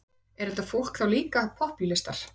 Er þetta fólk þá líka popúlistar?